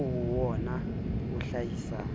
oo ho wona o hlahisang